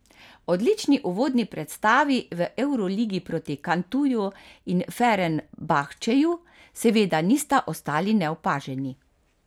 Odlični uvodni predstavi v evroligi proti Cantuju in Fenerbahčeju seveda nista ostali neopaženi.